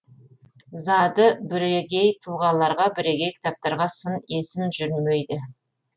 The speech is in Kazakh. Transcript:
зады бірегей тұлғаларға бірегей кітаптарға сын есім жүрмейді